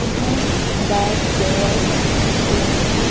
इसमें bat ball बच्चों के खिलौने --